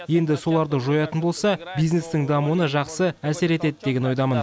енді соларды жоятын болса бизнестің дамуына жақсы әсер етеді деген ойдамын